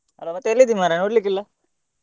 Hello ಮತ್ತೆ ಎಲ್ಲಿದ್ದಿ ಮರ್ರೆ ನೋಡ್ಲಿಕ್ಕೆ ಇಲ್ಲ.